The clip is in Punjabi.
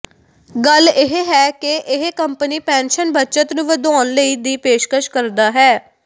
ਗੱਲ ਇਹ ਹੈ ਕਿ ਇਹ ਕੰਪਨੀ ਪੈਨਸ਼ਨ ਬੱਚਤ ਨੂੰ ਵਧਾਉਣ ਲਈ ਦੀ ਪੇਸ਼ਕਸ਼ ਕਰਦਾ ਹੈ